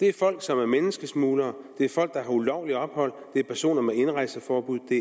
er folk som er menneskesmuglere det er folk der har ulovligt ophold det er personer med indrejseforbud det